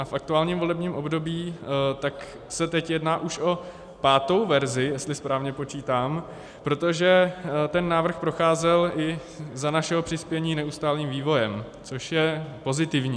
A v aktuálním volebním období se teď jedná už o pátou verzi, jestli správně počítám, protože ten návrh procházel i za našeho přispění neustálým vývojem, což je pozitivní.